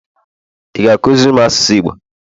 ị ga-akụziri m asụsụ igbo?